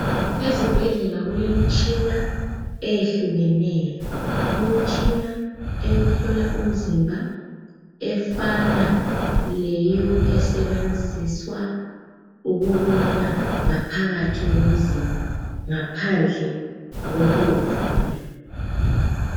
Ezibhendlela kulemitshina eyehlukeneyo umtshina wokuhlola umzimba efana laleyo esebenziswa ukubona ngaphakathi komzimba ngaphandle kokuwuvula